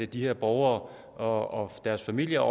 de her borgere og deres familier